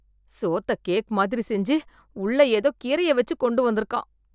சோத்தக் cake மாதிரி செஞ்சு, உள்ள ஏதோ கீரைய வெச்சு கொண்டுவந்துருக்கான்...